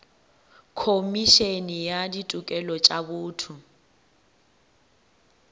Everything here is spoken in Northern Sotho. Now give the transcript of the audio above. khomišene ya ditokelo tša botho